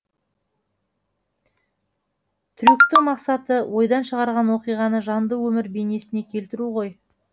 трюктің мақсаты ойдан шығарған оқиғаны жанды өмір бейнесіне келтіру ғой